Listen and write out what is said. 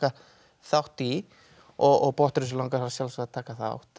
þátt í og Botnrössu langar að sjálfsögðu að taka þátt